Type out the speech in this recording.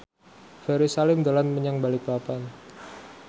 Ferry Salim dolan menyang Balikpapan